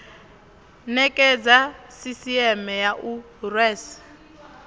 nekedza sisieme ya u rwela